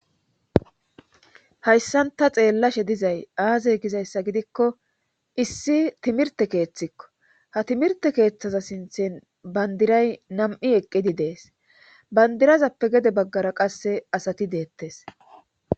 hayssan ta xeellashe dizay aaze gizayssa gidikko issi timirte keeththikko ha timirte keeththaza sinthin bandiray nam7i eqqidi dees bandirazappe gede baggara qasse asati deettes